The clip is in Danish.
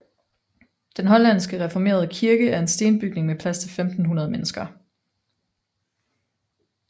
Den hollandske reformerede kirke er en stenbygning med plads til 1500 mennesker